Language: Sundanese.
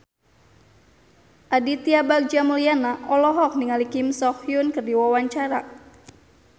Aditya Bagja Mulyana olohok ningali Kim So Hyun keur diwawancara